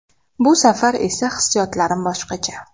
Bu safar esa hissiyotlarim boshqacha.